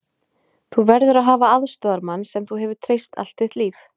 Þú verður að hafa aðstoðarmann sem þú hefur treyst allt þitt líf.